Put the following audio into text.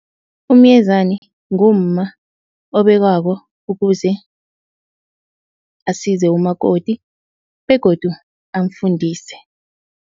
Umyezani ngumma obekwako ukuze asize umakoti begodu amfundise.